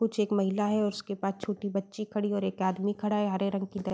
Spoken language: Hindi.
कुछ एक महिला है और उसके पास छोटी बच्ची खड़ी है और आदमी खड़ा है। हरे रंग की --